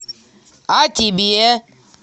а тебе